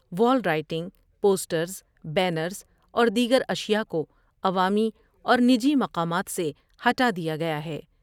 وال writing, posters, banners اور دیگر اشیاء کوعوامی اور نجی مقامات سے ہٹادیا گیا ہے ۔